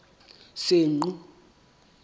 senqu